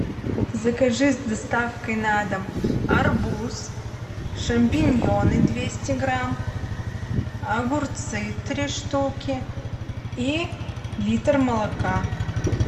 закажи с доставкой на дом арбуз шампиньоны двести грамм огурцы три штуки и литр молока